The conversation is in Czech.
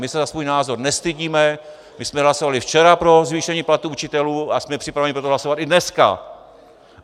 My se za svůj názor nestydíme, my jsme hlasovali včera pro zvýšení platů učitelů a jsme připraveni pro to hlasovat i dneska.